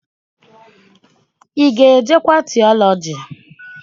Ị ga-ejekwa tiọlọji?